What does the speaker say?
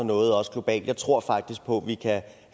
noget også globalt jeg tror faktisk på at vi kan